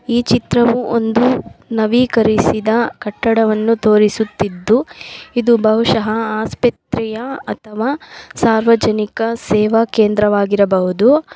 ಈ ಚಿತ್ರವು ಒಂದು ನವಿಕರಿಸಿದ ಕಟ್ಟಡವನ್ನು ತೋರಿಸುತ್ತಿದ್ದು ಇದು ಬಹುಷಹ ಆಸ್ಪತ್ರೆಯ ಅಥವಾ ಸಾರ್ವಜನಿಕ ಸೇವಾ ಕೇಂದ್ರವಾಗಿರಬಹುದು.